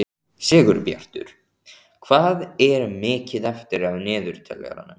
Sigurbjartur, hvað er mikið eftir af niðurteljaranum?